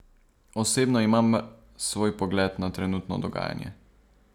Osebno imam svoj pogled na trenutno dogajanje.